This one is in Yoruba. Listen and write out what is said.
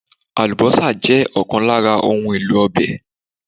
Àlùbọ́sà jẹ́ ọ̀kan lára òun èlò ọbẹ̀